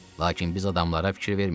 Lakin biz adamlara fikir vermirdik.